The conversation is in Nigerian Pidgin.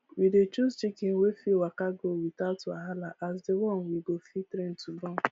we dey choose chicken wey fit waka go without wahala as di one we go fit train to born